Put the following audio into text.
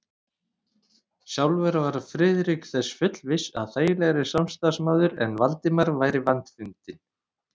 Sjálfur var Friðrik þess fullviss, að þægilegri samstarfsmaður en Valdimar væri vandfundinn.